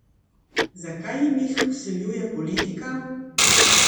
Zakaj jim jih vsiljuje politika?